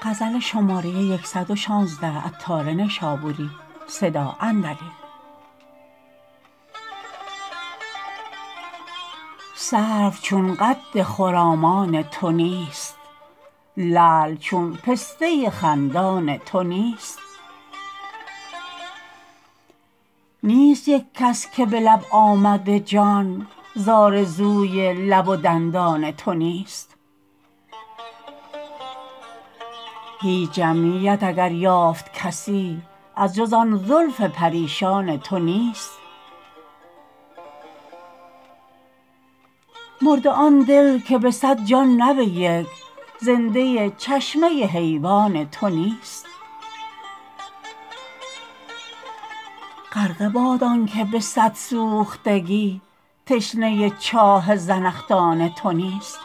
سرو چون قد خرامان تو نیست لعل چون پسته خندان تو نیست نیست یک کس که به لب آمده جان زآرزوی لب و دندان تو نیست هیچ جمعیت اگر یافت کسی از جز آن زلف پریشان تو نیست مرده آن دل که به صد جان نه به یک زنده چشمه حیوان تو نیست غرقه باد آنکه به صد سوختگی تشنه چاه زنخدان تو نیست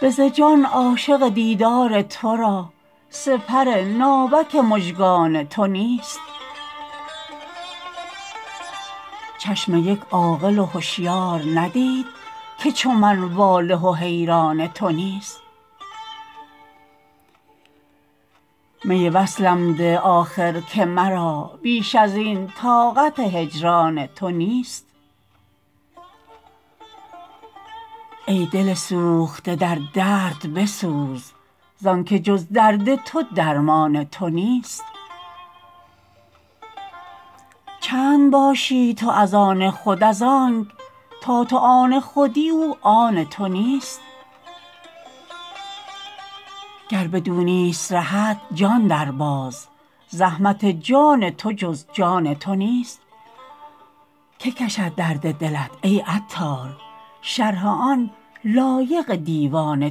به ز جان عاشق دیدار تو را سپر ناوک مژگان تو نیست چشم یک عاقل و هشیار ندید که چو من واله و حیران تو نیست می وصلم بده آخر که مرا بیش ازین طاقت هجران تو نیست ای دل سوخته در درد بسوز زانکه جز درد تو درمان تو نیست چند باشی تو از آن خود از آنک تا تو آن خودی او آن تو نیست گر بدو نیست رهت جان درباز زحمت جان تو جز جان تو نیست که کشد درد دلت ای عطار شرح آن لایق دیوان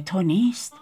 تو نیست